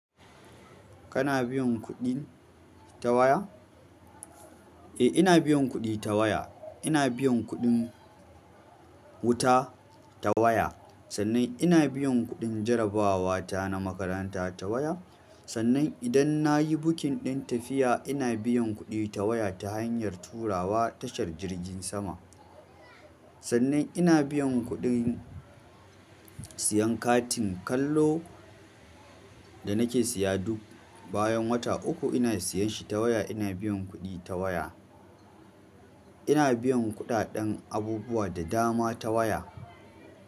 Kana biyan kuɗi ta waya? Eh, ina biyan kuɗi ta waya. Ina biyan kuɗin wuta ta waya. Sannan ina biyan kuɗin jarabawa ta na makaranta ta waya. Sannan idan na yi bukin ɗin tafiya, ina biyan kuɗi ta waya ta hanyar turawa tashar jirgin sama. Sannan ina biyan kuɗin siyan katin kallo da nake siya duk bayan wata uku ina siyan shi ta waya, ina biyan kuɗi ta waya. Ina biyan kuɗaɗen abubuwa da dama ta waya.